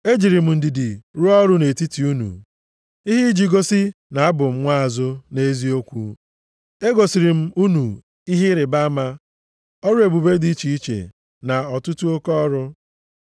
Ejiri m ndidi rụọ ọrụ nʼetiti unu, ihe iji gosi na abụ m nwaazụ + 12:12 Maọbụ, onyeozi nʼeziokwu. Egosiri m unu ihe ịrịbama, ọrụ ebube dị iche iche, na ọtụtụ oke ọrụ.